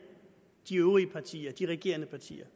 de øvrige partier de regerende partier